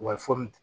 Wa foronto